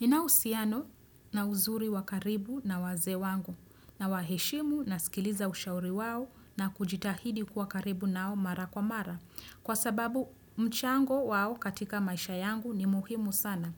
Ninao uhusiano na uzuri wakaribu na wazee wangu na waheshimu na sikiliza ushauri wao na kujitahidi kuwa karibu nao mara kwa mara. Kwa sababu mchango wao katika maisha yangu ni muhimu sana.